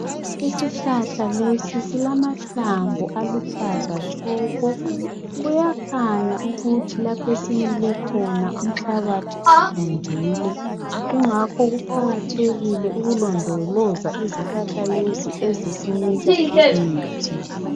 Isihlahla lesi esilamahlamvu aluhlaza tshoko. Kuyakhanya ukuthi lapho esimile khona umhlabathi uvundile. Kungako kuqakathekile ukulondoloza izihlahla lezi ezisinika imithi.